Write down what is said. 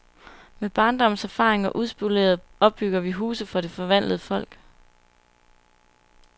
Med barndommens erfaringer uspolerede opbygger vi huse for det forvandlede folk.